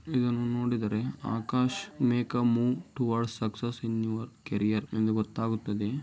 ಇದನ್ನು ನೋಡಿದರೆ Akash make a move towards success ಅಂತ ಗೊತ್ತಾಗುತ್ತದೆ.